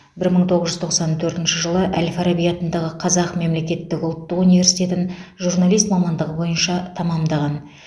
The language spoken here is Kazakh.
бір мың тоғыз жүз тоқсан төртінші жылы әл фараби атындағы қазақ мемлекеттік ұлттық университетін журналист мамандығы бойынша тәмамдаған